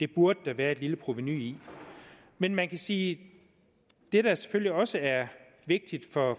det burde der være et lille provenu i men man kan sige at det der selvfølgelig også er vigtigt for